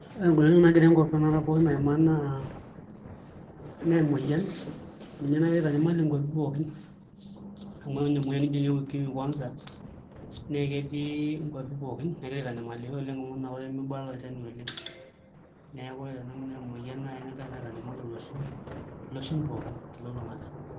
Ore ng'olikinoto nagira tanakata enkop pooki aimaa naa emoyian ninye nagira aitanyamal nkuapi pookin amu ore emuoyian nijio inye UKIMWI kwanza naa ketii nkuapi pooki negira aitanyamalisho oleng' amu eton apa ake mibala olchani oleng', neeku ore te nanu naa emoyian naai nagira naa aitanyamal olosho, iloshon pookin telulung'ata.